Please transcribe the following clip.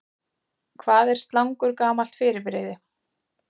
Hvað er slangur gamalt fyrirbrigði?